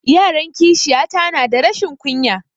Yaran kishiya ta na da rashin ƙunya